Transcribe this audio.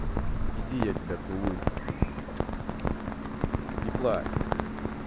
иди я тебя поцелую не плачь